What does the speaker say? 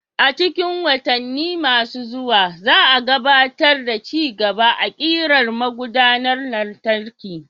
A cikin watanni masu zuwa, za a gabatar da ci gaba a ƙirar magudanar lantarki.